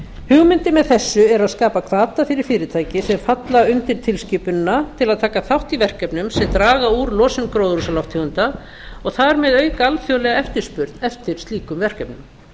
hugmyndin með þessu er að skapa hvata fyrir fyrirtæki sem falla undir tilskipunina til að taka þátt í verkefnum sem draga úr losun gróðurhúsalofttegunda og þar með auka alþjóðlega eftirspurn eftir slíkum verkefnum